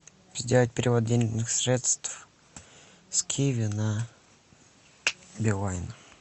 сделать перевод денежных средств с киви на билайн